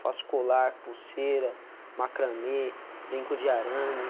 Faço colar, pulseira, macramê, brinco de arame.